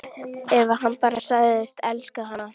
Ef hann bara segðist elska hana: